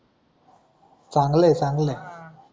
चांगलय, चांगलय.